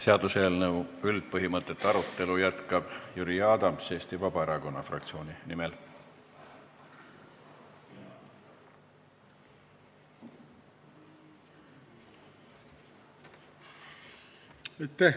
Seaduseelnõu üldpõhimõtete arutelu jätkab Jüri Adams Eesti Vabaerakonna fraktsiooni esindajana.